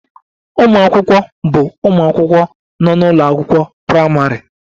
Ụmụ akwụkwọ bụ ụmụ akwụkwọ nọ n'ụlọ akwụkwọ praịmarị